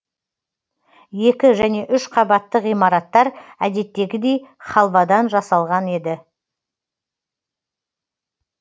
екі және үш қабатты ғимараттар әдеттегідей халвадан жасалған еді